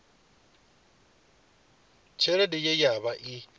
tshelede ye ya vha i